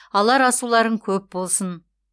алар асуларың көп болсын